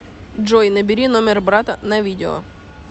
джой набери номер брата на видео